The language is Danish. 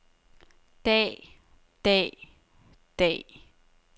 dag dag dag